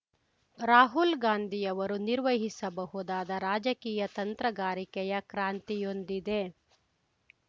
ರಾಹುಲ್‌ ಗಾಂಧಿಯವರು ನಿರ್ವಹಿಸಬಹುದಾದ ರಾಜಕೀಯ ತಂತ್ರಗಾರಿಕೆಯ ಕ್ರಾಂತಿಯೊಂದಿದೆ